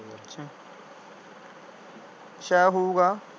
ਸ਼ਾਇਦ ਹੋਊਗਾ ।